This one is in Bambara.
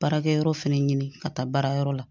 Baarakɛyɔrɔ fɛnɛ ɲini ka taa baarayɔrɔ la